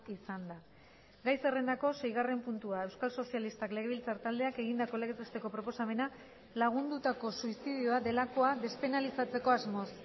izan da gai zerrendako seigarren puntua euskal sozialistak legebiltzar taldeak egindako legez besteko proposamena lagundutako suizidioa delakoa despenalizatzeko asmoz